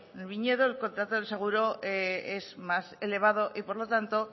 en el viñedo el contrato del seguro es más elevado y por lo tanto